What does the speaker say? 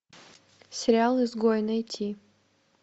сериал изгои найти